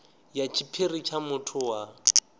ya tshiphiri tsha muthu wa